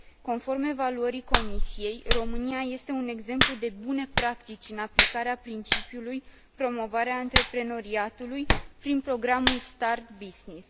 Conform evaluării Comisiei, România este un exemplu de bune practici în aplicarea principiului promovarea antreprenoriatului prin programul start business.